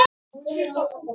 Elsku Halli afi.